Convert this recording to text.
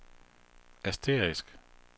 asterisk